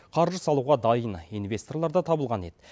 қаржы салуға дайын инвесторлар да табылған еді